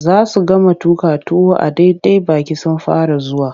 Za su gama tuƙa tuwon a daidai baƙi sun fara zuwa.